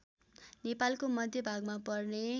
नेपालको मध्यभागमा पर्ने